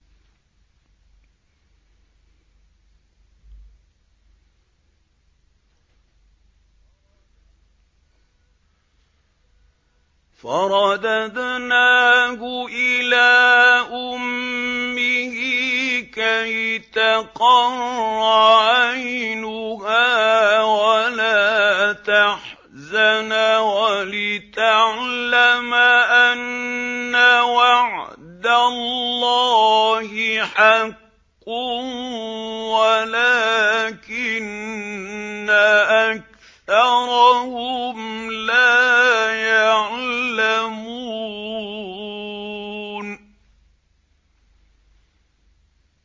فَرَدَدْنَاهُ إِلَىٰ أُمِّهِ كَيْ تَقَرَّ عَيْنُهَا وَلَا تَحْزَنَ وَلِتَعْلَمَ أَنَّ وَعْدَ اللَّهِ حَقٌّ وَلَٰكِنَّ أَكْثَرَهُمْ لَا يَعْلَمُونَ